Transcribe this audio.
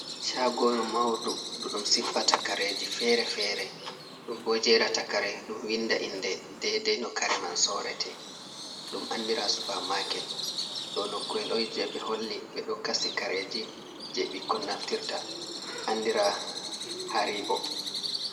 Chagoru mauɗu ɗuɗum sippa takareji fere-fere. Ɗum ɓo jerata kare, ɗum winɗa inɗe ɗaiɗai no kare man sorete. Ɗum anɗira Supa maket, ɗo noku’el on je ɓe holli ɓe ɗo kasi kareji, je ɓikkon naftirta, anɗira Haribo.